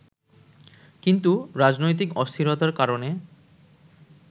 কিন্তু রাজনৈতিক অস্থিরতার কারণে